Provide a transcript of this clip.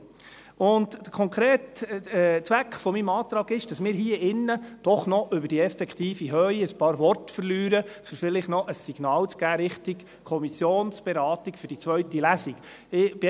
Der konkrete Zweck meines Antrags ist, dass wir hier im Saal doch noch ein paar Worte über die effektive Höhe verlieren, um vielleicht noch ein Signal in Richtung Kommissionsberatung für die zweite Lesung zu geben.